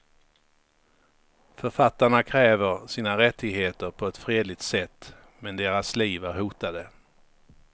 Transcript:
Författarna kräver sina rättigheter på ett fredligt sätt, men deras liv är hotade.